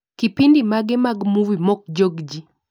Kipindi mage ka movie mokjog jii